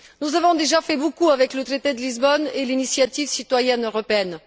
Nous avons déjà fait beaucoup avec le traité de Lisbonne et l'initiative citoyenne européenne.